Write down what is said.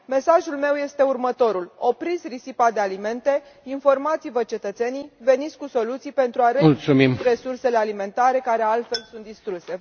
Mesajul meu este următorul opriți risipa de alimente, informați vă cetățenii, veniți cu soluții pentru a redistribui resursele alimentare care, altfel, sunt distruse.